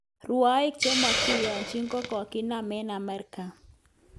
Rwoik chemokiyonji kokokinam eng Amerika